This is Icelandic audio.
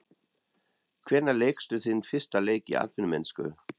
Hvenær lékstu þinn fyrsta leik í atvinnumennsku?